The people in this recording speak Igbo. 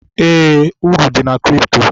Eé, uru dị na kripto.